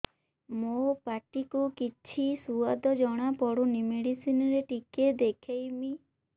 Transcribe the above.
ମୋ ପାଟି କୁ କିଛି ସୁଆଦ ଜଣାପଡ଼ୁନି ମେଡିସିନ ରେ ଟିକେ ଦେଖେଇମି